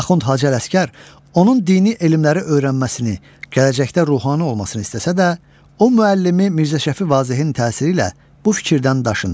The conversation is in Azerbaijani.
Axund Hacı Ələsgər onun dini elmləri öyrənməsini, gələcəkdə ruhani olmasını istəsə də, o müəllimi Mirzə Şəfi Vazehin təsiri ilə bu fikirdən daşınır.